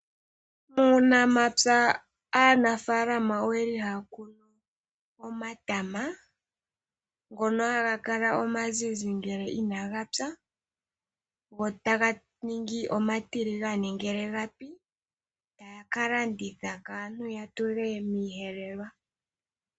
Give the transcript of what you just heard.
Muunamapya aanafaalama ohaya kunu omatama ngono haga kala omazizi uuna inagapya nohaga ningi omatiligane uuna gapi yotaya ka landitha kaantu yatule miiyelelwa .